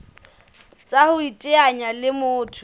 tsa ho iteanya le motho